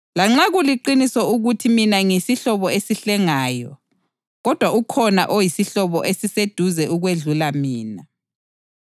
Lanxa kuliqiniso ukuthi mina ngiyisihlobo esihlengayo, kodwa ukhona oyisihlobo esiseduze okwedlula mina.